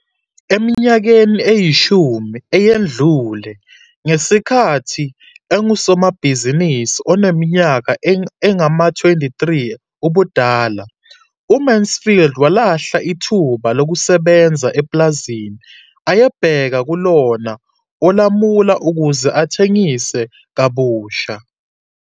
Eminyakeni eyishumi eyedlule, ngesikhathi engusomabhizinisi oneminyaka engama-23 ubudala, uMansfield walahla ithuba lokusebenza epulazini ayebheka kulona olamula ukuze athengise kabusha.